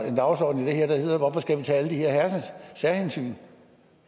en dagsorden i det her der hedder hvorfor skal vi tage alle de her særhensyn